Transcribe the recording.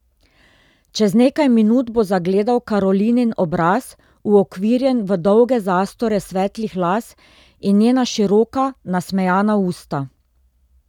Čez nekaj minut bo zagledal Karolinin obraz, uokvirjen v dolge zastore svetlih las, in njena široka nasmejana usta.